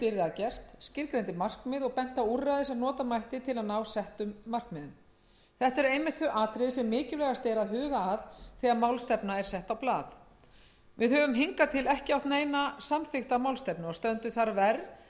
gert skilgreindi markmið og benti á úrræði sem nota mætti til að ná settum markmiðum þetta eru einmitt þau atriði sem mikilvægast er að huga að þegar málstefna er sett á blað við höfum hingað til ekki átt neina samþykkta málstefnu og stöndum þar verr en